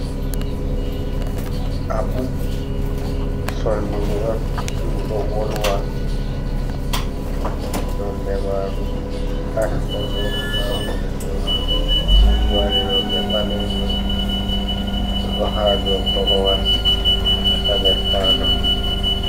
Aku sonduru on dudo wolwa nonde maru ashcolo, da hunduko maru mari donder balejum bo do ha do korowal ha der palo.